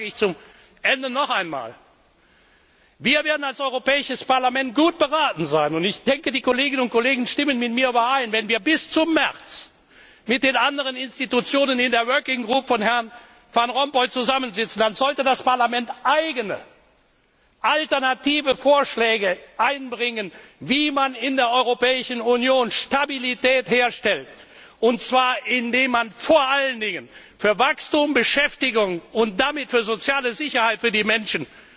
Deshalb sage ich zum Ende noch einmal Wir werden als Europäisches Parlament gut beraten sein und ich denke, die Kolleginnen und Kollegen stimmen mit mir überein wenn wir, während wir bis zum März mit den anderen Institutionen in der Arbeitsgruppe von Herrn Van Rompuy zusammensitzen, als Parlament eigene alternative Vorschläge einbringen, wie man in der Europäischen Union Stabilität herstellt, und zwar indem man vor allen Dingen für Wachstum, Beschäftigung und damit für soziale Sicherheit für die Menschen